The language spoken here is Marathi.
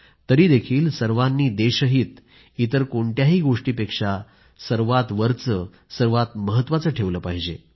तरीही सर्वांनी देशहित इतर कोणत्याही गोष्टीपेक्षा सर्वात वरचे सर्वात महत्वाचे ठेवले पाहिजे